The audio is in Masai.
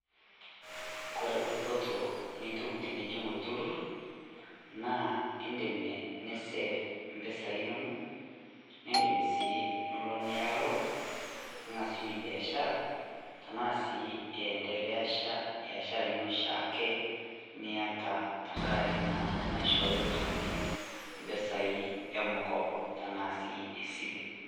Kore dupoto nitum tenijing olturrur, naa indim nisave impesai inono, nindim sii nilo niya loan ning'asunye biashara, tenaa sii iendelesha biashara ino oshiake niata tengarake naa naishooyo ilturruri impesai emkopo tena sii esile.